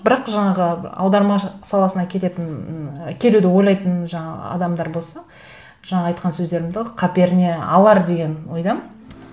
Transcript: бірақ жаңағы аудармашы саласына келетін ы келуді ойлайтын жаңа адамдар болса жаңа айтқан сөздерімді қаперіне алар деген ойдамын